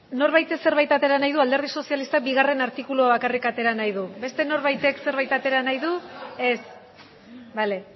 norbaitek zerbait atera nahi du alderdi sozialistak bigarren artikulua bakarrik atera nahi du beste norbaitek zerbait atera nahi du ez bale